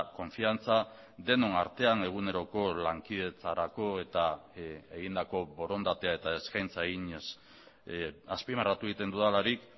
konfiantza denon artean eguneroko lankidetzarako eta egindako borondatea eta eskaintza eginez azpimarratu egiten dudalarik